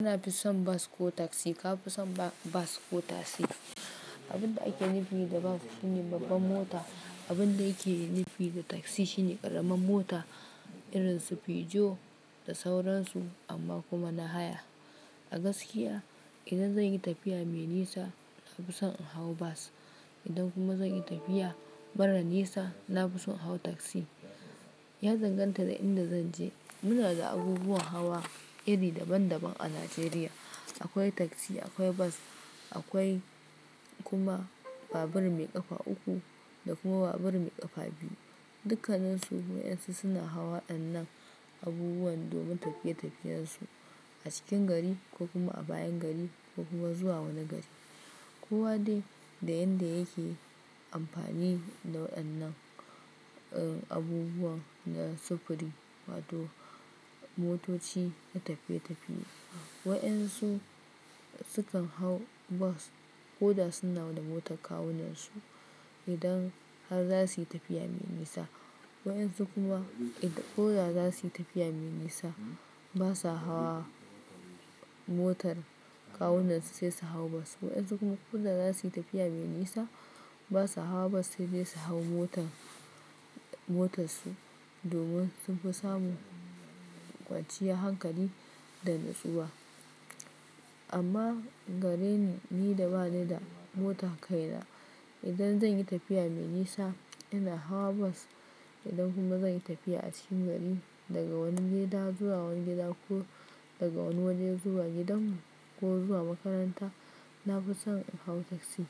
Ina fi son bas ko taksi, ka fi son bas ko taksi? Abin da ake nufi da bas shine babbar mota. Abin da yake nufi da taksi shine ƙaramar mota irin su Peugeot da sauran su amma kuma na haya. A gaskiya idan zan yi tafiya mai nisa, na fi son in hau bas. Idan kuma zan yi tafiya mara nisa, na fi son in hau taksi. Ya danganta da inda zan je. Muna da abubuwan hawa iri daban daban a Najeriya. Akwai taksi, akwai bas, akwai kuma babur mai ƙafa uku da kuma babur mai ƙafa biyu. Dukkaninsu su wa'yansu suna hawa wadannan abubuwan domin tafiye tafiyensu a cikin gari ko kuma a bayan gari ko kuma zuwa wani gari. Kowa dai da yadda yake amfani da waɗannan, eh abubuwan na sufuri wato motoci na tafiye tafiye. Wa'yansu sukan hau bas ko da suna da motar kawunansu idan har za su yi tafiya mai nisa. Wayansu kuma idan ko da za su yi tafiya mai nisa, ba sa hawa motar kawunansu sai su hau bas. Wayansu kuma ko da za su yi tafiya mai nisa, ba sa hawa bas sai dai su hau motar, motarsu domin sun fi samu kwaciyar hankali da natsuwa. Amma gare ni, ni da bani da motan kai na, idan zan yi tafiya mai nisa, ina hawa bas. Idan kuma zan yi tafiya a cikin gari daga wani gida zuwa wani gida ko daga wani waje zuwa gidanmu ko zuwa makaranta, na fi son in hau taksi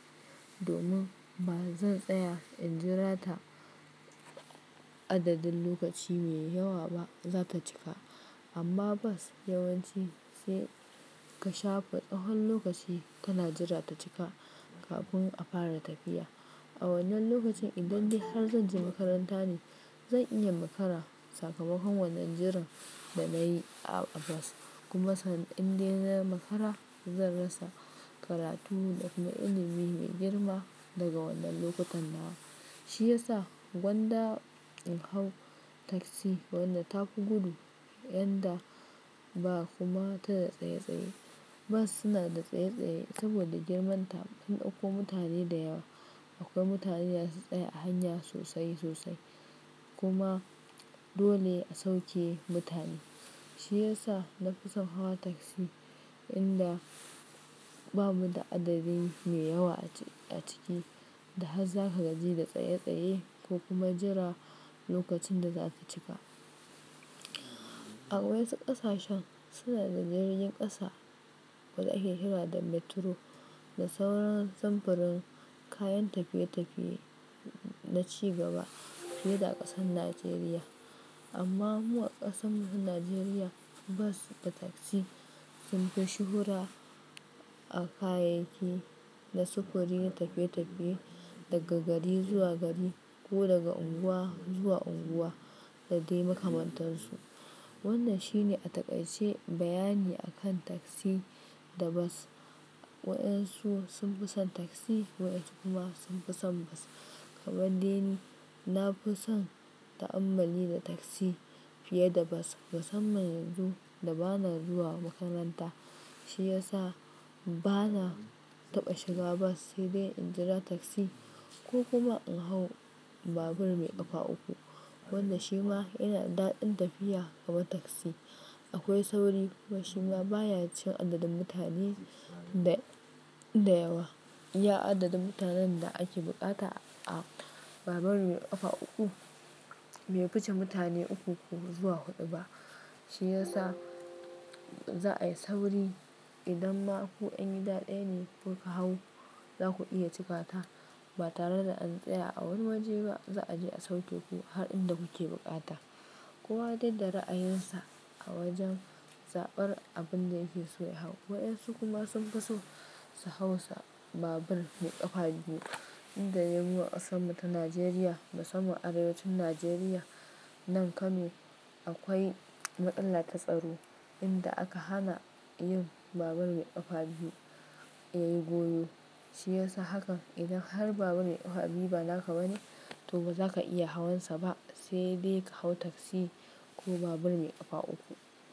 domin ba zan tsaya in jira ta adadin lokaci mai yawa ba, za ta cika. Amma bas yawanci sai ka shafe tsahon lokaci ka na jira ta cika kafin a fara tafiya. A wannan lokacin idan dai har zan je makaranta ne, zan iya makara sakamakon wannan jiran da na yi a bas. Kuma san in dai na makara, zan rasa karatu da kuma ilimi mai girma daga wannan lokutan nan. Shi ya sa gwanda in hau taksi wannan ta fi gudu yanda ba kuma ta da tsaye tsaye. Bas suna da tsaye tsaye saboda girman ta sun daiko mutane da yawa. Akwai mutane da zasu tsaye a hanya sosai sosai kuma dole a sauke mutane. Shi ya sa na fi son hawa taksi inda bamu da adadin mai yawa a ciki da har za ka gaji da tsaye tsaye ko kuma jira lokacin da za ta cika. A wayansu ƙasashen suna da jirgin ƙasa wanda yake kira da Metro da sauran samfurin kayan tafiye tafiye na ci gaba fiye da ƙasar Najeriya. Amma mu a ƙasan mu ta Najeriya, bas da taksi sun fi shuhura a kayayyakin na sufuri na tafiye tafiye daga gari zuwa gari ko daga unguwa zuwa unguwa da dai makamantansu. Wannan shine a taƙaice bayani akan taksi da bas. Waɗansu sun fi son taksi, waɗansu kuma sun fi son bas. Kaman de ni, na fi son ta'ammali da taksi fiye da bas. Musamman yanzu da bana zuwa makaranta shi ya sa bana taɓa shiga bas sai dai in jira taksi ko kuma in hau babur mai ƙafa uku. Wannan shi ma yana da daɗin tafiya kamar taksi. Akwai sauri kuma shi ma baya cin adadin mutane da, da yawa. Iya adadin mutanen da ake buƙata a babur mai ƙafa uku bai fuce mutane uku ko zuwa huɗu ba. Shi ya sa za a yi sauri idan ma ku yan gida daya ne kuka hau, za ku iya cika ta ba tare da an tsaya a wani waje ba. Za a je a sauke ku har inda kuke buƙata. Kowa dai da ra'ayinsa a wajen zaɓar abin da yake so ya hau. Wayansu kuma sun fi so su hau sa babur mai ƙafa biyu inda dai mu a ƙasan mu ta Najeriya. Musamman arewacin Najeriya nan kano akwai matsala ta tsaro inda aka hana yin babur mai ƙafa biyu ya yi goyo. Shi ya sa hakan idan har babur mai ƙafa biyu ba naka ba ne, to ba za ka iya hawan sa ba sai dai ka hau taksi ko babur mai ƙafa uku.